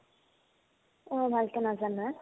অ, ভালকে নাজানা